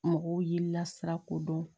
Mɔgɔw y'i lasira ko dɔn